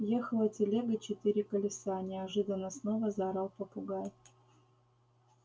ехала телега четыре колеса неожиданно снова заорал попугай